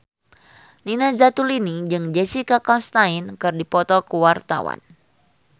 Nina Zatulini jeung Jessica Chastain keur dipoto ku wartawan